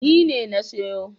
Ni ne na siyo.